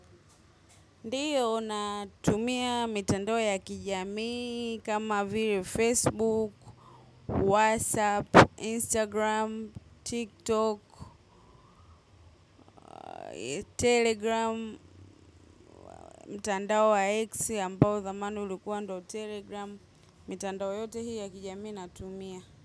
Ndiyo natumia mitandao ya kijami kama vile Facebook, WhatsApp, Instagram, TikTok, Telegram, mtandao wa X ambao zamani ulikuwa ndo Telegram, mitandao yote hii ya kijamii natumia.